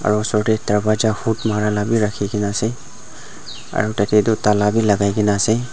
aro osor dae dworja hook mara la bhi rakhikena ase aro tatey tuh tala bhi lagaikena ase.